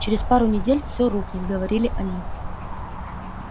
через пару недель все рухнет говорили они